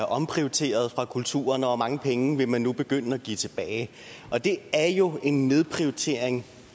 omprioriteret fra kulturen og hvor mange penge vil man nu begynde at give tilbage det er jo en nedprioritering